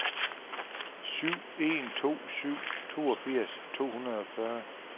syv en to syv toogfirs to hundrede og fyrre